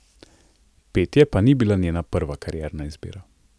Petje pa ni bila njena prva karierna izbira.